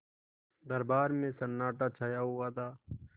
दरबार में सन्नाटा छाया हुआ था